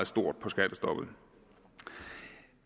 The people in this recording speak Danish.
stort på skattestoppet